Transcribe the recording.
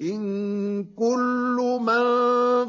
إِن كُلُّ مَن